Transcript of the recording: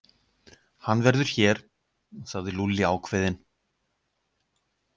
Hann verður hér, sagði Lúlli ákveðinn.